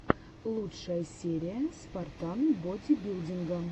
лучшая серия спартан бодибилдинга